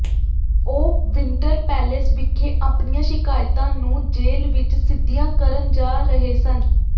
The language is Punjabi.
ਉਹ ਵਿੰਟਰ ਪੈਲੇਸ ਵਿਖੇ ਆਪਣੀਆਂ ਸ਼ਿਕਾਇਤਾਂ ਨੂੰ ਜ਼ੇਲ ਵਿੱਚ ਸਿੱਧੀਆਂ ਕਰਨ ਜਾ ਰਹੇ ਸਨ